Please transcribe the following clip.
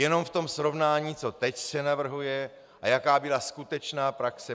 Jenom v tom srovnání, co teď se navrhuje a jaká byla skutečná praxe.